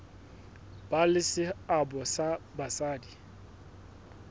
ba le seabo ha basadi